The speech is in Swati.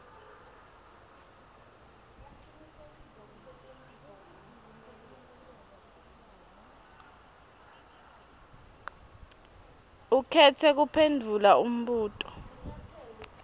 ukhetse kuphendvula umbuto